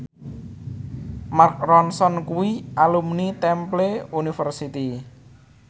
Mark Ronson kuwi alumni Temple University